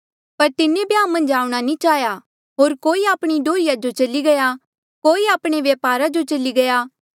पर तिन्हें ब्याह मन्झ आऊंणा नी चाहेया होर कोई आपणी डोहर्रिया जो चली गया कोई आपणे व्यापारा जो चली गये